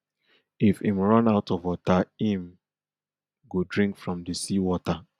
if im run out of water im go drink from di sea water